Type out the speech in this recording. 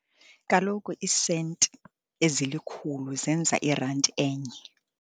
Kaloku iisenti ezilikhulu zenza irandi enye.